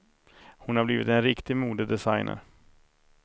Hon har blivit en riktig modedesigner.